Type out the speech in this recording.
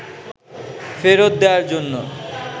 ফেরত দেওয়ার জন্য